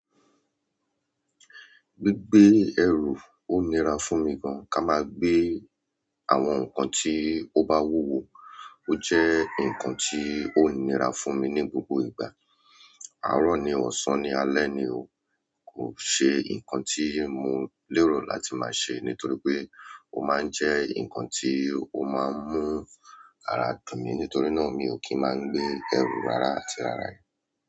Gbígbé ẹrù ó nira fún mi gan-an ká máa gbé àwọn nǹkan tí ó bá wúwó wo jẹ nkan ti o nira fún mi ni gbogbo ìgbà. Àárọ̀ ni o, ọsán ni, alẹ́ ni o, kò ṣe nǹkan ti mo lérò láti máa ṣe nítorí pé ó ma ń jẹ́ nǹkan tí ó máa ń mú ara tì mí nítorí náà mi ò kí ń máa gbé ẹrù rárá àti rárá yẹn.